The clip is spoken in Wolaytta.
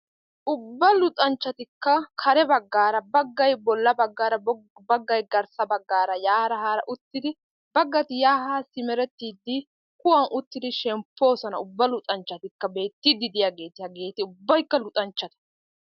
Ubba luxanchchatikka kare baggaara baggay bolla baggaara baggay garssa baggaara yaara haara uttidi baggati yaa haa simerettiiddi kuwan uttiiddi shemppoosona ubba luxanchchatikka beettiiddi diyageeti hageeti ubbaykka luxanchchata.